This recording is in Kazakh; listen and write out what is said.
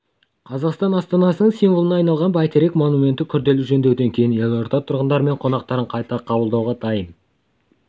қазақстан астанасының символына айналған бәйтерек монументі күрделі жөндеуден кейін елорда тұрғындары мен қонақтарын қайта қабылдауға дайын